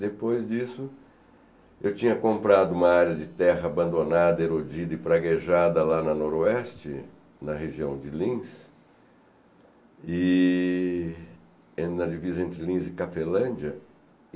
Depois disso, eu tinha comprado uma área de terra abandonada, erodida e praguejada lá na Noroeste, na região de Lins, e na divisa entre Lins e Cafelândia.